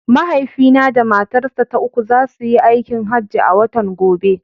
Mahaifina da matarsa ta uku za su yi aikin hajji a watan gobe.